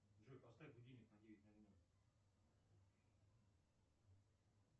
джой поставь будильник на девять ноль ноль